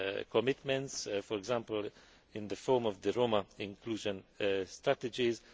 commitments, for example in the form of the Roma inclusion strategies.